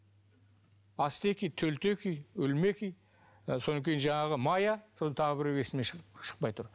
ацтеки төлтеки өлмеки і содан кейін жаңағы мая сосын тағы біреуі есімнен шықпай тұр